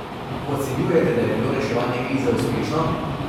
Ocenjujete, da je bilo reševanje krize uspešno?